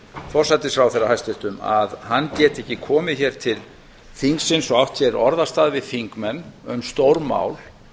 forsætisráðherra hæstvirtur að hann geti ekki komið hér til þingsins og átt hér orðastað við þingmenn um stórmál